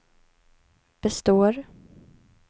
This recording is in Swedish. består